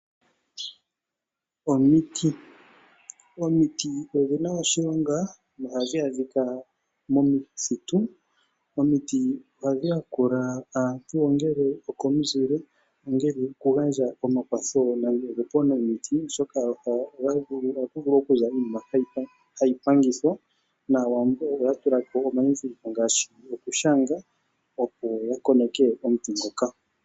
Omiti Omiti odhi na oshilonga nohadhi adhika momithitu. Omiti ohadhi yakula aantu ongele okomuzile, ongele oku gandja omakwatho gopaunamiti, oshoka ohaku vulu oku za iinima hayi pangithwa naawambo oya tula po omandhindhiliko ngaashi oku shanga opo ya koneke omuti ngoka.